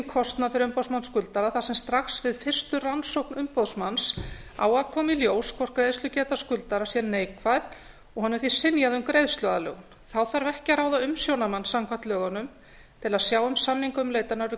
kostnað fyrir umboðsmann skuldara þar sem strax við fyrstu rannsókn umboðsmanns á að koma í ljós hvort greiðslugeta skuldara sé neikvæð og honum því synjað um greiðsluaðlögun þá þarf ekki að ráða umsjónarmann samkvæmt lögunum til að sjá um samningaumleitanir við